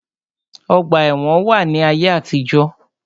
Ọgbà ẹ̀wọn wà ní ayé àtijó.